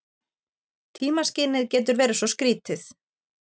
Tímaskynið getur verið svo skrýtið.